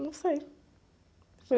Não sei.